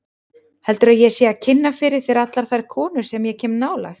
Heldurðu að ég sé að kynna fyrir þér allar þær konur sem ég kem nálægt?